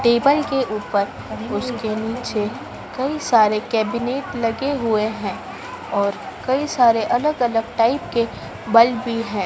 Table के ऊपर उसके नीचे कई सारे कैबिनेट लगे हुए हैं और कई सारे अलग अलग टाइप के बल्ब भी हैं।